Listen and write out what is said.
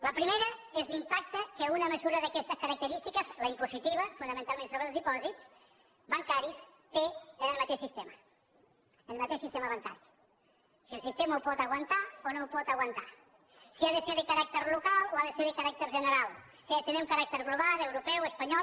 la primera és l’impacte que una mesura d’aquestes característiques la impositiva fonamentalment sobre els dipòsits bancaris té en el mateix sistema en el mateix sistema bancari si el sistema ho pot aguantar o no ho pot aguantar si ha de ser de caràcter local o ha de ser de caràcter general si ha de tenir un caràcter global europeu espanyol